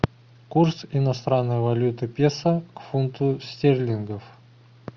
курс иностранной валюты песо к фунту стерлингов